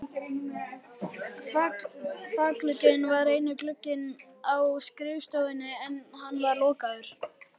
Þakglugginn var eini glugginn á skrifstofunni en hann var lokaður.